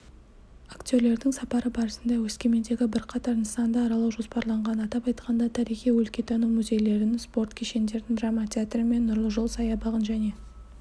актерлердің сапары барысында өскемендегі бірқатар нысанды аралау жоспарланған атап айтқанда тарихи-өлкетану мүзейлерін спорт кешендерін драма театр мен нұрлы жол саябағын және